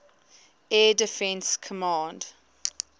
air defense command